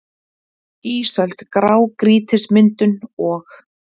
ÍSÖLD- GRÁGRÝTISMYNDUN OG